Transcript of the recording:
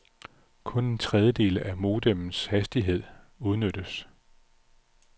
Kun en tredjedel af modemmets hastighed udnyttes.